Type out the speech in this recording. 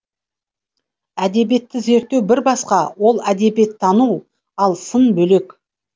әдебиетті зерттеу бір басқа ол әдебиеттану ал сын бөлек